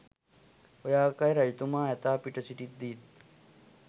ඔය ආකාරයට රජතුමා ඇතා පිට සිටිද්දීත්